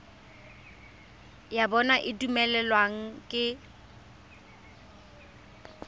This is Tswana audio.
ya bona e dumelaneng ka